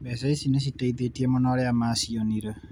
Mbeca ici nĩciteithĩtie mũno arĩa macionire.